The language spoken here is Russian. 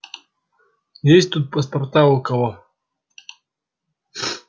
есть тут паспорта у кого